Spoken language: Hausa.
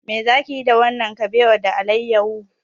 Me za ki yi da wannan kabewa da alayyahu?